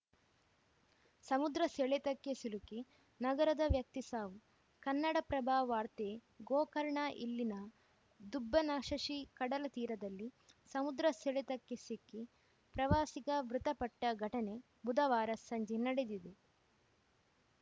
ಸಮುದ್ರ ಸೆಳೆತಕ್ಕೆ ಸಿಲುಕಿ ನಗರದ ವ್ಯಕ್ತಿ ಸಾವು ಕನ್ನಡಪ್ರಭ ವಾರ್ತೆ ಗೋಕರ್ಣ ಇಲ್ಲಿನ ದುಬ್ಬನಶಶಿ ಕಡಲ ತೀರದಲ್ಲಿ ಸಮುದ್ರ ಸೆಳೆತಕ್ಕೆ ಸಿಕ್ಕಿ ಪ್ರವಾಸಿಗ ಮೃತಪಟ್ಟಘಟನೆ ಬುಧವಾರ ಸಂಜೆ ನಡೆದಿದೆ